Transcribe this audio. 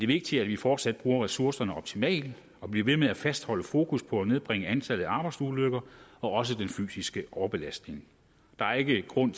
vigtigt at vi fortsat bruger ressourcerne optimalt og bliver ved med at fastholde fokus på at nedbringe antallet af arbejdsulykker og også den fysiske overbelastning der er ikke grund